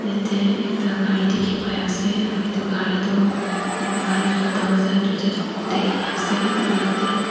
yete ekta gari dikhi pai ase aru etu gari tu gari la darwaja duita toh khuli gina ase aro yete--